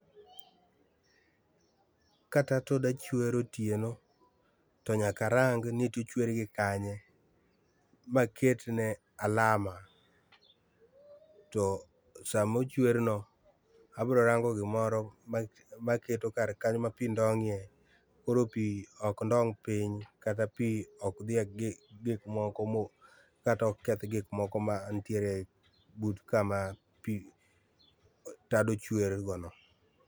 Ka tat oda chwer otieno to nyaka arang’ ni to ochwer gi kanye ma aketne alama. To sama ochwer no abiro rango gimore maketo kar kanyo ma pii ndongie koro pii ok ndong’ piny kata piny ok dhie egik kata ok keth gik moko mantiere but kama pii, tado chwerie go no